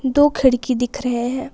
दो खिड़की दिख रहे है।